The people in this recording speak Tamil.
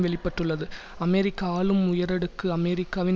வெளி பட்டுள்ளது அமெரிக்க ஆளும் உயரடுக்கு அமெரிக்காவின்